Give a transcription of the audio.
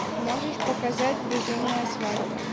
можешь показать безумная свадьба